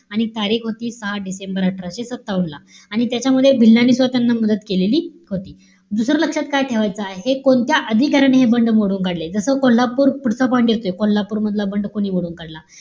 आणि तारीख होती सहा डिसेंबर अठराशे सत्तावन्न ला. आणि त्याच्यामध्ये भिल्लांनी सुद्धा मदत केलेली होती. दुसरं लक्षात काय ठेवायचं आहे? कोणत्या अधिकाऱ्याने हे बंड मोडून काढले? जस कोल्हापूर, पुढचा point दिसतोय. कोल्हापूर मधला बंड कोणी मोडून काढला?